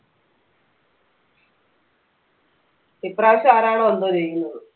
ഇപ്രാവശ്യം ആരാണ് കൊണ്ട് വന്നിരിക്കുന്നത്